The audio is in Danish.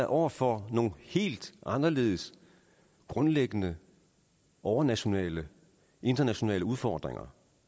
over for nogle helt anderledes grundlæggende overnationale internationale udfordringer